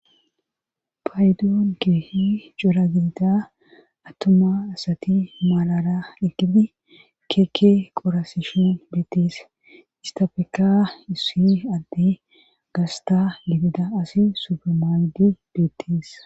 Paydoon keehi cora gidida attuma asati maalara ekidi keeke qorasishen beettees istafeka issi addi gasta gidida asi supermaaydi beettees.